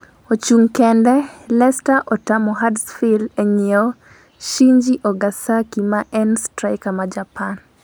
(ochung kende) lesta otamo Hudersfield e nyiewo Shinji Ogasaki ma en straika ma Japan